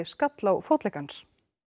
skall á fótlegg hans